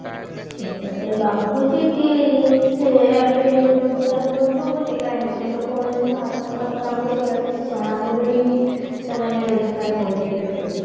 ହଁ ତମକୁ ଲାଗୁଛି କି ସେ ଏବେ ରୋଜଗାର ବଢିବ ବୋଲି କାଇଁ ମୋତେ ତ କୌଣସି ଭାରତ ସରକାରଙ୍କ ଦ୍ଵାରା କିଛି ଜଣାପଡୁନି କି ସେମାନେ ରୋଜଗାର ବଢେଇବେ ବୋଲିକି